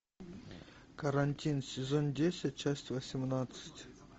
карантин сезон десять часть восемнадцать